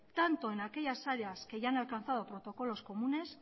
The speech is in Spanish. tanto en aquellas áreas que ya han alcanzado protocolos comunes